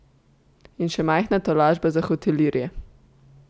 In še majhna tolažba za hotelirje.